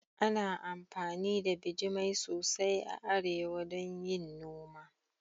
Ana amfani da bijimai sosai a arewa don yin noma